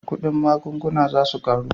Kudin magunguna za su karu